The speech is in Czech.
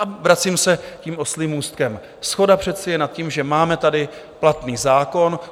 A vracím se tím oslím můstkem: shoda přece je nad tím, že máme tady platný zákon.